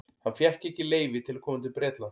Hann fékk ekki leyfi til að koma til Bretlands.